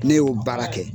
Ne y'o baara kɛ